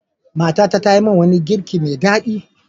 Matata ta yi min wani girki mai daɗi.